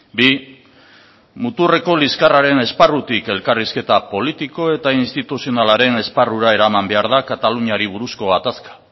bi muturreko liskarraren esparrutik elkarrizketa politiko eta instituzionalaren esparrura eraman behar da kataluniari buruzko gatazka